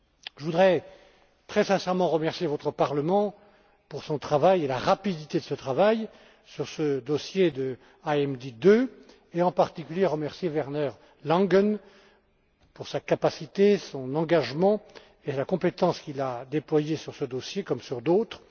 Je voudrais très sincèrement remercier votre Parlement pour son travail et la rapidité de ce travail sur ce dossier IMD 2, et en particulier le rapporteur, Werner Langen, pour sa capacité, son engagement et la compétence qu'il a déployée sur ce dossier comme sur d'autres.